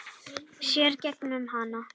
Sér í gegnum hana.